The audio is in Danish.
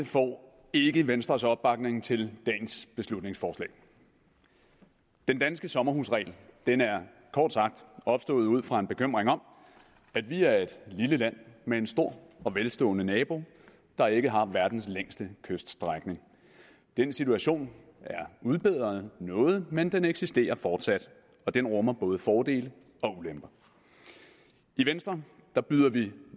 får ikke venstres opbakning til dagens beslutningsforslag den danske sommerhusregel er kort sagt opstået ud fra en bekymring om at vi er et lille land med en stor og velstående nabo der ikke har verdens længste kyststrækning den situation er udbedret noget men den eksisterer fortsat og den rummer både fordele og ulemper i venstre byder vi